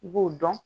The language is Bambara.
I b'o dɔn